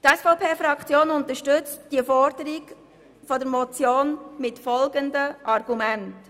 Die SVP-Fraktion unterstützt die Forderung der Motion mit folgenden Argumenten: